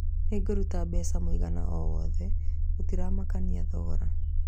Nĩngũruta mbeca mũigana o wothe, gũtiramakania thogora